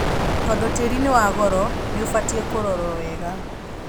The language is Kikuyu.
Tondũtĩri nĩwagoro nĩũbatie kũrorwo wega.